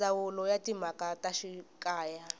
ndzawulo ya timhaka ta xikaya